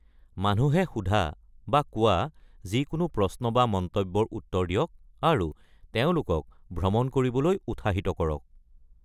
মানুহে সোধা বা কোৱা যিকোনো প্ৰশ্ন বা মন্তব্যৰ উত্তৰ দিয়ক আৰু তেওঁলোকক ভ্ৰমণ কৰিবলৈ উৎসাহিত কৰক।